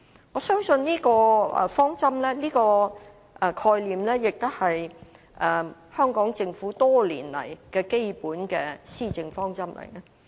我相信這個概念亦是香港政府多年來的基本施政方針。